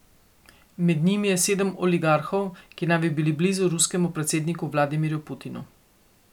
Med njimi je sedem oligarhov, ki naj bi bili blizu ruskemu predsedniku Vladimirju Putinu.